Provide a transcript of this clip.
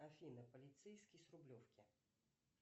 афина полицейский с рублевки